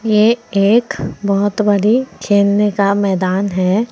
ये एक बहुत बड़ी खेलने का मैदान है।